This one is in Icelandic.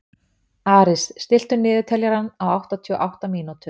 Aris, stilltu niðurteljara á áttatíu og átta mínútur.